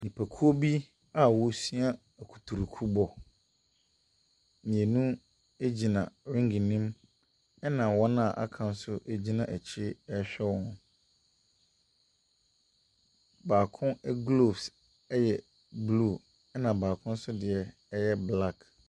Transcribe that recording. Nnipakuo bi a ɔresua ɛkuturuku bɔ. Mmienu egyina ringe ne mu ɛna wɔn a aka nso gyina akyire ɛrehwɛ wɔn. Baako gloves ɛyɛ blue, ɛna baako nso deɛ ɛyɛ black.